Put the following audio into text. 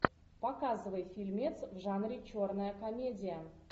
показывай фильмец в жанре черная комедия